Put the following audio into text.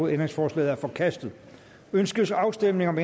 ændringsforslaget er forkastet ønskes afstemning om